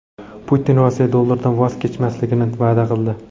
Putin Rossiya dollardan voz kechmasligini va’da qildi.